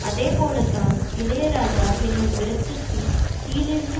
அதே போல தான் இளையராஜா என்னும் விரட்சத்தின் கீழேயிருந்து